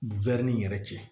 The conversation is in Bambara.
ni yɛrɛ cɛ